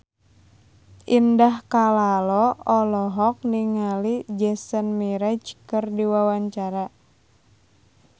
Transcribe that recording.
Indah Kalalo olohok ningali Jason Mraz keur diwawancara